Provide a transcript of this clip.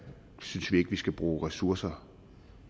synes vi ikke at vi skal bruge ressourcer